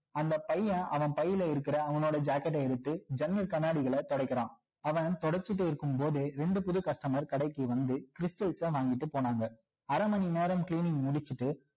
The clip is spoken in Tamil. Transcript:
அந்த பையன் அவன் பையில இருக்கிற அவனோட jacket ட எடுத்து ஜன்னல் கண்ணாடிகள துடைக்கிறான் அவன் துடைச்சிட்டு இருக்கும் போதே இரண்டு புதுது customers கடைக்கு வந்து stals ச வாங்கிட்டு போனாங்க அரை மணி நேரம் cleaning முடிச்சிட்டு